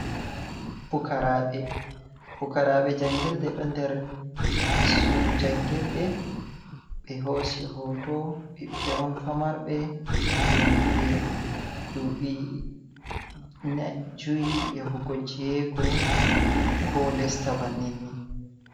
pukaraɓe jangirde do der suudu jangirde be hoosi hoto ɓiɓɓe on famarbe dilliniɓe duɓi juy ya hahungo jeweego ko lesta banninni.